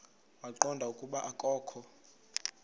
waqonda ukuba akokho